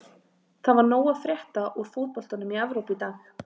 Það var nóg að frétta úr fótboltanum í Evrópu í dag.